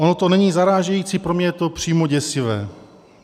Ono to není zarážející, pro mě je to přímo děsivé.